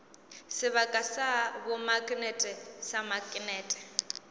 sebaka sa bomaknete sa maknete